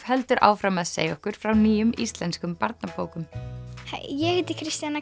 heldur áfram að segja okkur frá nýjum íslenskum barnabókum hæ ég heiti Kristjana